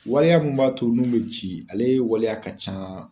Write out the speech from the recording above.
Waleya mun b'a to n'u be ci ale ye waleya ka ca